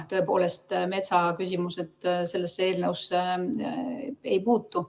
Tõepoolest, metsaküsimused sellesse eelnõusse ei puutu.